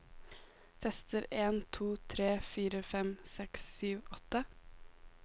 Tester en to tre fire fem seks sju åtte